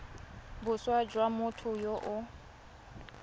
boswa jwa motho yo o